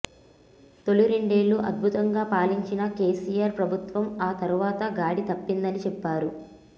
తొలి రెండేళ్లు అద్భుతంగా పాలించిన కేసీఆర్ ప్రభుత్వం ఆ తర్వాత గాడి తప్పిందని చెప్పారు